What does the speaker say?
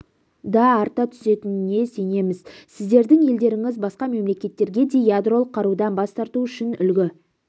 да арта түсетініне сенеміз сіздердің елдеріңіз басқа мемлекеттерге де ядролық қарудан бас тарту үшін үлгі